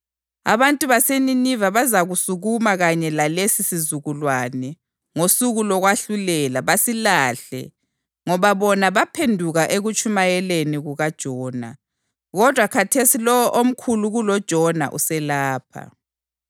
Abantu baseNiniva bazasukuma kanye lalesi sizukulwane ngosuku lokwahlulelwa basilahle ngoba bona baphenduka ekutshumayeleni kukaJona, kodwa khathesi lowo omkhulu kuloJona uselapha.